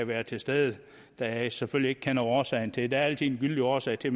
være til stede da jeg selvfølgelig ikke kender årsagen til det der er altid en gyldig årsag til